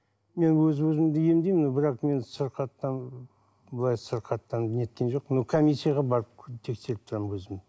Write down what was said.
мен өз өзімді емдеймін но бірақ мен сырқаттан былай сырқаттанып неткен жоқпын но коммисияға барып тексеріп тұрамын өзім